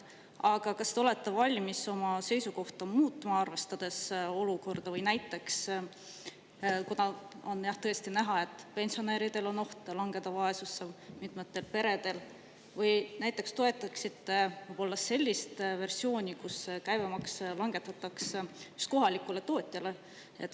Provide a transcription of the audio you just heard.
Aga kas te olete valmis oma seisukohta muutma, arvestades olukorda, või näiteks – kuna on tõesti näha, et pensionäridel on oht langeda vaesusesse, mitmetel peredel – toetaksite võib-olla sellist versiooni, kus käibemaks langetatakse kohalikule tootjale?